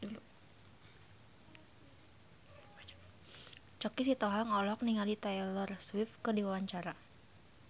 Choky Sitohang olohok ningali Taylor Swift keur diwawancara